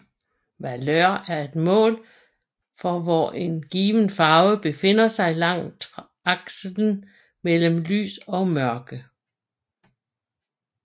Valør er et mål for hvor en given farve befinder sig langs aksen mellem lys og mørke